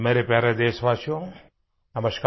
मेरे प्यारे देशवासियो नमस्कार